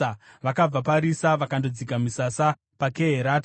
Vakabva paRisa vakandodzika misasa paKeherata.